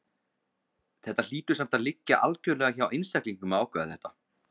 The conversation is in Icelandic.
Þetta hlýtur samt að liggja algjörlega hjá einstaklingnum að ákveða þetta.